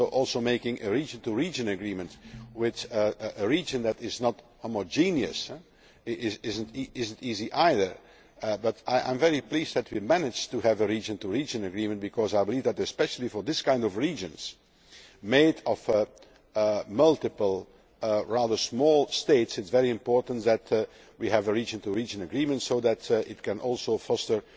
Similarly, making a region to region agreement with a region that is not homogenous is not easy either, but I am very pleased that we managed to have a region to region agreement because I believe that especially for these kinds of regions, made up of multiple rather small states, it is very important that we have a region to region agreement so that it can also foster